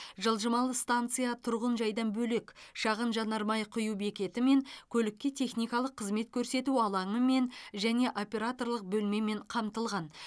жылжымалы станция тұрғын жайдан бөлек шағын жанармай құю бекетімен көлікке техникалық қызмет көрсету алаңымен және операторлық бөлмемен қамтылған